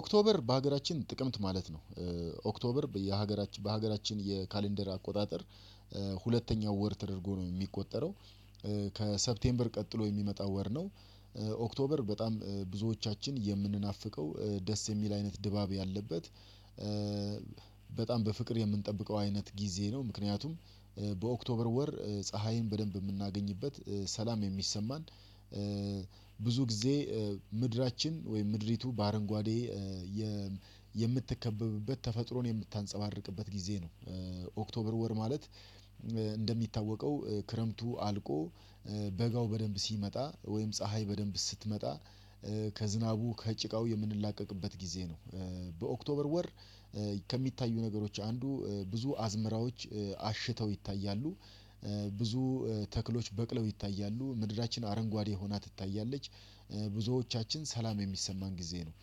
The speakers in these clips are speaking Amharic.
ኦክቶበር በሀገራችን ጥቅምት ማለት ነው። ኦክቶበር በሀገራችን የካሌንደር አቆጣጠር ሁለተኛው ወር ተደርጎ ነው የሚቆጠረው ከሰፕቴምበር ቀጥሎ የሚመጣ ወር ነው። ኦክቶበር በጣም ብዙዎቻችን የምንናፍቀው ደስ የሚል አይነት ድባብ ያለበት በጣም በፍቅር የምንጠብቀው አይነት ጊዜ ነው ምክንያቱም በኦክቶበር ወር ፀሀይን በደንብ የምናገኝበት፣ ሰላም የሚሰማን ብዙ ጊዜ ምድራችን ወይም ምድሪቱ በአረንጓዴ የምትከበብበት ተፈጥሮን የምታንጸባርቅበት ጊዜ ነው። ኦክቶበር ወር ማለት እንደሚታወቀው ክረምቱ አልቆ በጋው በደንብ ሲመጣ ወይም ፀሀይ በደንብ ስትመጣ ከዝናቡ፣ ከጭቃው የምንላቀቅበት ጊዜ ነው በኦክቶበር ወር ከሚታዩ ነገሮች አንዱ ብዙ አዝመራዎች አሽተው ይታያሉ ብዙ ተክሎች በቅለው ይታያሉ፣ ምድራችን አረንጓዴ ሆና ትታያለች፣ ብዙዎቻችን ሰላም የሚሰማን ጊዜ ነው።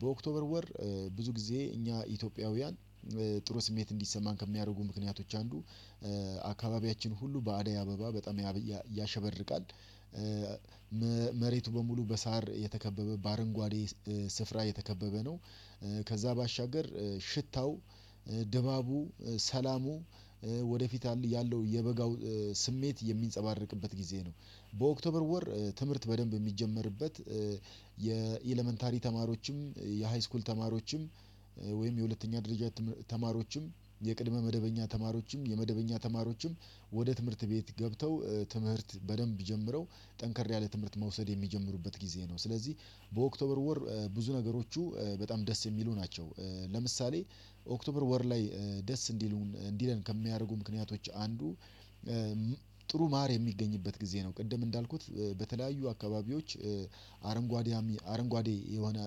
በኦክቶበር ወር ብዙ ጊዜ እኛ ኢትዮጵያውያን ጥሩ ስሜት እንዲሰማን ከሚያደርጉ ምክንያቶች አንዱ አካባቢያችን ሁሉ በአደይ አበባ በጣም ያሸበርቃል፣ መሬቱ በሙሉ በሳር የተከበበ በአረንጓዴ ስፍራ የተከበበ ነው ከዛ ባሻገር ሽታው፣ ድባቡ፣ ሰላሙ፣ ወደፊት ያለው የበጋው ስሜት የሚንፀባርቅበት ጊዜ ነው። በኦክቶበር ወር ትምህርት በደንብ የሚጀመርበት የኤለመንታሪ ተማሪዎችም፣ የሃይስኩል ተማሪዎችም ወይም የሁለተኛ ደረጃ ተማሪዎችም፣ የቅድመ መደበኛ ተማሪዎችም፣ የመደበኛ ተማሪዎችም ወደ ትምህርት ቤት ገብተው ትምህርት በደንብ የሚጀምረው ጠንከር ያለ ትምህርት መውሰድ የሚጀምሩበት ጊዜ ነው፤ ስለዚህ በኦክቶበር ወር ብዙ ነገሮቹ በጣም ደስ የሚሉ ናቸው ለምሳሌ ኦክቶበር ወር ላይ ደስ እንዲሉን እንዲለን ከሚያደርጉ ምክንያቶች አንዱ ጥሩ ማር የሚገኝበት ጊዜ ነው ቅድም እንዳልኩት በተለያዩ አካባቢዎች አረንጓዴ አረንጓዴ የሆነ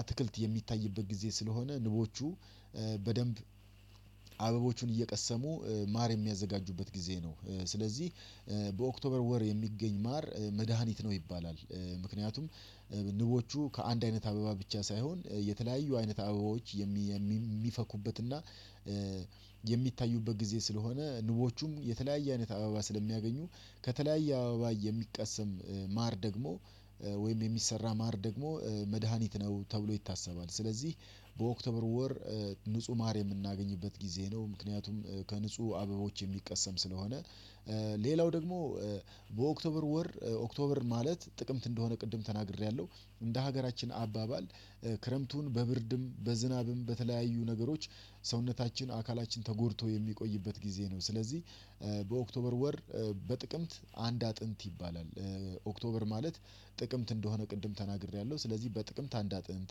አትክልት የሚታይበት ጊዜ ስለሆነ ንቦቹ በደንብ አበቦቹን እየቀሰሙ ማር የሚያዘጋጁበት ጊዜ ነው። ስለዚህ በኦክቶበር ወር የሚገኝ ማር መድሃኒት ነው ይባላል ምክንያቱም ንቦቹ ከአንድ አይነት አበባ ብቻ ሳይሆን የተለያዩ አይነት አበባዎች የሚ የሚፈኩበትና የሚታዩበት ጊዜ ስለሆነ ንቦቹም የተለያየ አይነት አበባ ስለሚያገኙ ከተለያየ አበባ የሚቀሰም ማር ደግሞ ወይም የሚሰራ ማር ደግሞ መድሃኒት ነው ተብሎ ይታሰባል፤ ስለዚህ በኦክቶበር ወር ንጹህ ማር የምናገኝበት ጊዜ ነው ምክንያቱም ከንጹህ አበቦች የሚቀሰም ስለሆነ ሌላው ደግሞ በኦክቶበር ወር ኦክቶበር ማለት ጥቅምት እንደሆነ ቅድም ተናግሬያለሁ እንደ ሀገራችን አባባል ክረምቱን በብርድም በዝናብም በተለያዩ ነገሮች ሰውነታችን አካላችን ተጎድቶ የሚቆይበት ጊዜ ነው ስለዚህ በኦክቶበር ወር በጥቅምት አንድ አጥንት ይባላል ኦክቶበር ማለት ጥቅምት እንደሆነ ቅድም ተናግሬያለሁ ስለዚህ በጥቅምት አንድ አጥንት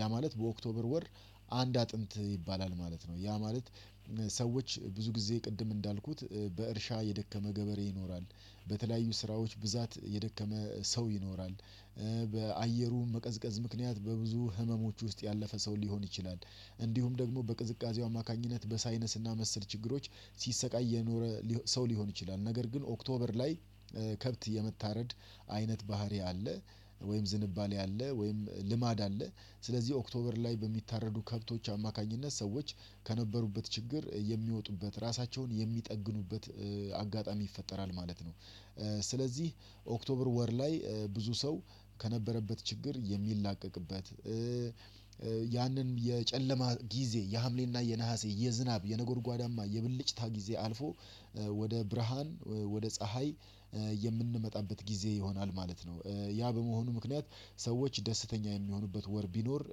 ያ ማለት በኦክቶበር ወር አንድ አጥንት ይባላል ማለት ነው ያ ማለት ሰዎች ብዙ ጊዜ ቅድም እንዳልኩት በእርሻ የደከመ ገበሬ ይኖራል፣ በተለያዩ ስራዎች ብዛት የደከመ ሰው ይኖራል፣ በአየሩ መቀዝቀዝ ምክንያት በብዙ ህመሞች ውስጥ ያለፈ ሰው ሊሆን ይችላል፣ እንዲሁም ደግሞ በቅዝቃዜው አማካኝነት በሳይነስና መሰል ችግሮች ሲሰቃይ የኖረ ሰው ሊሆን ይችላል ነገር ግን ኦክቶበር ላይ ከብት የመታረድ አይነት ባህሪ አለ ወይም ዝንባሌ አለ ወይም ልማድ አለ ስለዚህ ኦክቶበር ላይ በሚታረዱ ከብቶች አማካኝነት ሰዎች ከነበሩበት ችግር የሚወጡበት ራሳቸውን የሚጠግኑበት አጋጣሚ ይፈጠራል ማለት ነው። ስለዚህ ኦክቶበር ወር ላይ ብዙ ሰው ከነበረበት ችግር የሚላቀቅበት፣ ያንን የጨለማ ጊዜ የሀምሌና የነሀሴ የዝናብ የነጎድጓዳማ፣ የብልጭታ ጊዜ አልፎ ወደ ብርሃን ወደ ፀሀይ የምንመጣበት ጊዜ ይሆናል ማለት ነው። ያ በመሆኑ ምክንያት ሰዎች ደስተኛ የሚሆኑበት ወር ቢኖር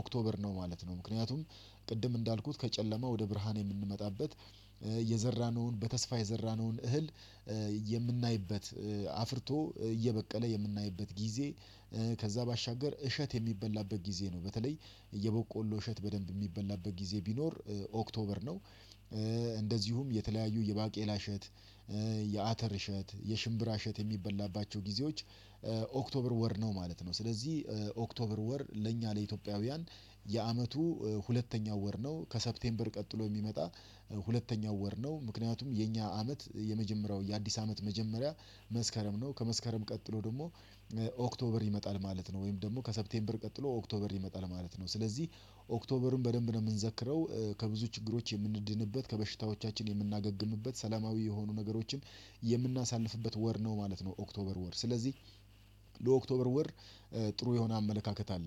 ኦክቶበር ነው ማለት ነው ምክንያቱም ቅድም እንዳልኩት ከጨለማ ወደ ብርሃን የምንመጣበት የዘራነውን በተስፋ የዘራነውን እህል የምናይበት አፍርቶ እየበቀለ የምናይበት ጊዜ ከዛ ባሻገር እሸት የሚበላበት ጊዜ ነው በተለይ እየበቆሎ እሸት በደንብ የሚበላበት ጊዜ ቢኖር ኦክቶበር ነው እንደዚሁም የተለያዩ የባቄላ እሸት፣ የአተር እሸት፣ የሽምብራ እሸት የሚበላባቸው ጊዜዎች ኦክቶበር ወር ነው ማለት ነው ስለዚህ ኦክቶበር ወር ለእኛ ለኢትዮጵያውያን የአመቱ ሁለተኛው ወር ነው፣ ከሰፕቴምበር ቀጥሎ የሚመጣ ሁለተኛው ወር ነው ምክንያቱም የኛ አመት የመጀመሪያው የአዲስ አመት መጀመሪያ መስከረም ነው ከመስከረም ቀጥሎ ደግሞ ኦክቶበር ይመጣል ማለት ነው ወይም ደግሞ ከሰፕቴምበር ቀጥሎ ኦክቶበር ይመጣል ማለት ነው፤ ስለዚህ ኦክቶበርን በደንብ ነው የምንዘክረው ከብዙ ችግሮች የምንድንበት፣ ከበሽታዎቻችን የምናገግምበት፣ ሰላማዊ የሆኑ ነገሮችን የምናሳልፍበት ወር ነው ማለት ነው ኦክቶበር ወር ስለዚህ ለኦክቶበር ወር ጥሩ የሆነ አመለካከት አለኝ።